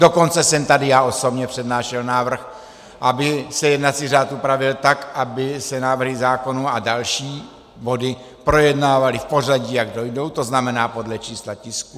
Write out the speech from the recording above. Dokonce jsem tady já osobně přednášel návrh, aby se jednací řád upravil tak, aby se návrhy zákonů a další body projednávaly v pořadí, jak dojdou, to znamená podle čísla tisků.